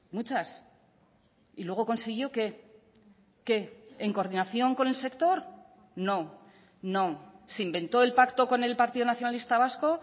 muchas y luego consiguió qué qué en coordinación con el sector no no se inventó el pacto con el partido nacionalista vasco